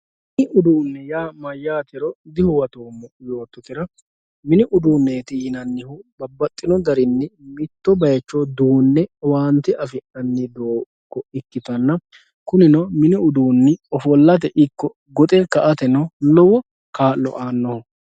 Minu uduuneeti yaa mayaatero dihuwatoomo yoototera mini uduuneeti yinanihu babaxino garinni mitto bayicho duune owaante affinanni doogo ikitanna kuninno mini uduuni ofolate ikko goxe ka'ateno lowo kaa'lo anoho